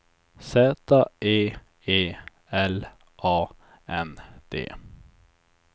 Z E E L A N D